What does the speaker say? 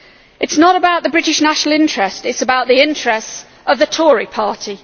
It is not about the British national interest it is about the interests of the Tory party.